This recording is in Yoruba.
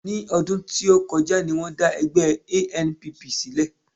Ní ọdún tó kọjá ni wọ́n dá ẹgbẹ́ ANPP sílẹ̀